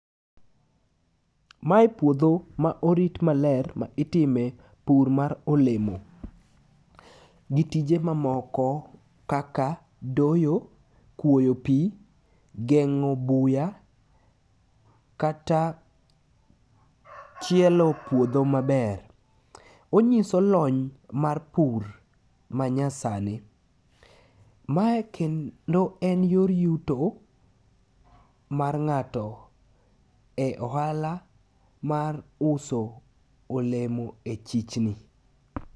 Mae puodho ma orit maler ma itime pur mar olemo, gitije mamoko kaka doyo, kwoyo pi, geng'o buya kata chielo puodho maber. Onyiso lony mar pur manyasani. Mae kendo en yor yuto mar ng'ato e ohala mar uso olemo e chichni.